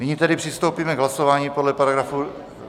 Nyní tedy přistoupíme k hlasování podle paragrafu...